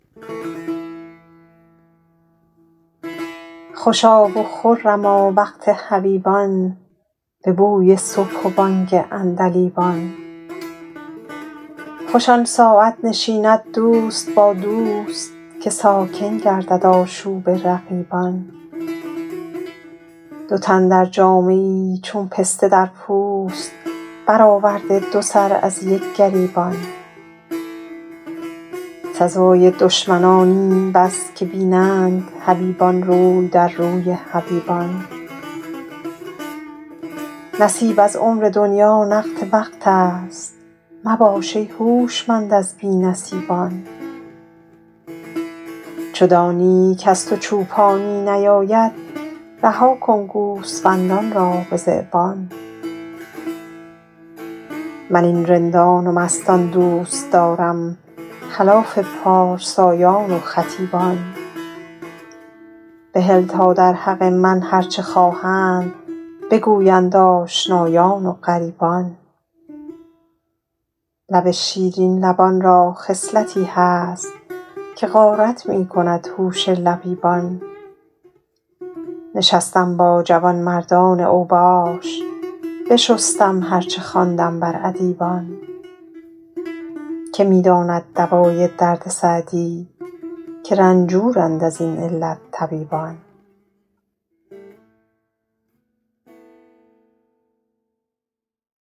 خوشا و خرما وقت حبیبان به بوی صبح و بانگ عندلیبان خوش آن ساعت نشیند دوست با دوست که ساکن گردد آشوب رقیبان دو تن در جامه ای چون پسته در پوست برآورده دو سر از یک گریبان سزای دشمنان این بس که بینند حبیبان روی در روی حبیبان نصیب از عمر دنیا نقد وقت است مباش ای هوشمند از بی نصیبان چو دانی کز تو چوپانی نیاید رها کن گوسفندان را به ذیبان من این رندان و مستان دوست دارم خلاف پارسایان و خطیبان بهل تا در حق من هر چه خواهند بگویند آشنایان و غریبان لب شیرین لبان را خصلتی هست که غارت می کند هوش لبیبان نشستم با جوانمردان اوباش بشستم هر چه خواندم بر ادیبان که می داند دوای درد سعدی که رنجورند از این علت طبیبان